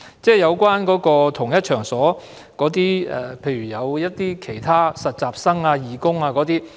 在同一場所內，有不同人士，例如實習生、義工等。